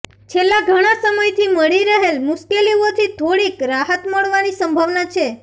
છેલ્લાં ઘણા સમયથી મળી રહેલ મુશ્કેલીઓથી થોડીક રાહત મળવાની સંભાવના છે